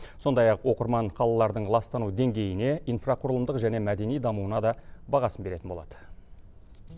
сондай ақ оқырман қалалардың ластану деңгейіне инфрақұрылымдық және мәдени дамуына да бағасын беретін болады